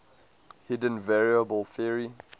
hidden variable theory